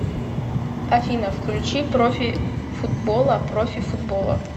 афина включи профи футбола профи футбола